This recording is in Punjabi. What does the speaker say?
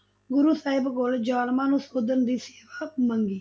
ਗੁਰੂ ਸਾਹਿਬ ਕੋਲ ਜਾਲਮਾਂ ਨੂੰ ਸੋਧਣ ਦੀ ਸੇਵਾ ਮੰਗੀ।